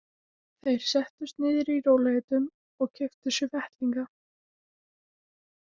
Þeir settust niður í rólegheitum og keyptu sér veitingar.